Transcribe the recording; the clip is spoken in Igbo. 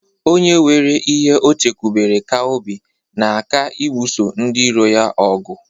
Onye nwere ihe o chekwubere ka obi na-aka ibuso ndiiro ya ogu.